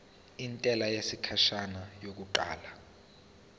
intela yesikhashana yokuqala